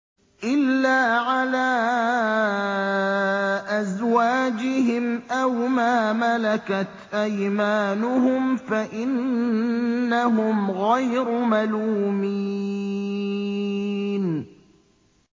إِلَّا عَلَىٰ أَزْوَاجِهِمْ أَوْ مَا مَلَكَتْ أَيْمَانُهُمْ فَإِنَّهُمْ غَيْرُ مَلُومِينَ